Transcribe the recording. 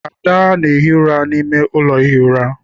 Ada na- ehi ụra n'ime ụlọ ihi ura.